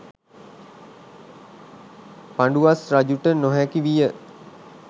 පඬුවස් රජුට නොහැකි විය.